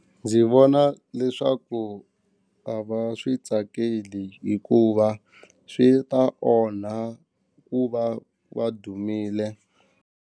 Ndzi vona leswaku a va swi tsakeli hikuva swi ta onha ku va va dumile.